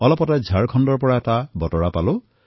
অলপতে ঝাৰখণ্ডৰ পৰা মই এটা বাৰ্তা পালো